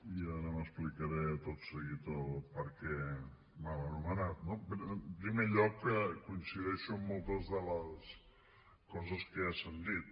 i ara explicaré tot seguit el per què mal anomenat no en primer lloc coincideixo amb moltes de les coses que ja s’han dit